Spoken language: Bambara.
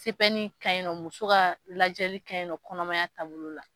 CPN ka ɲi nɔ, muso ka lajɛli ka ɲi nɔ, kɔnɔmaya taabolo la.